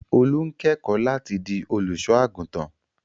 Olú ń kẹ́kọ̀ọ́ láti di olùṣọ́-àgùntàn.